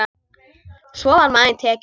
Svo var maginn tekinn.